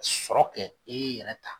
Sɔrɔ kɛ e yɛrɛ ta